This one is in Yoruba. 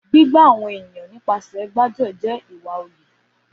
Gbígbà àwọn ènìyàn nípasẹ̀ gbáájuẹ̀ jẹ ìwá ọlẹ